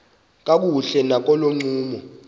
kakuhle nakolo ncumo